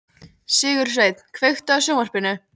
Sigursveinn, kveiktu á sjónvarpinu.